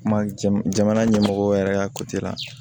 Kuma jamana ɲɛmɔgɔw yɛrɛ y'a la